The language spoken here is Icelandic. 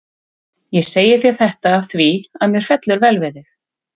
Ég segi þér þetta af því, að mér fellur vel við þig.